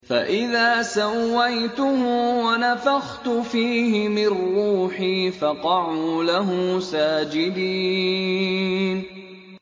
فَإِذَا سَوَّيْتُهُ وَنَفَخْتُ فِيهِ مِن رُّوحِي فَقَعُوا لَهُ سَاجِدِينَ